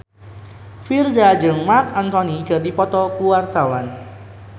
Virzha jeung Marc Anthony keur dipoto ku wartawan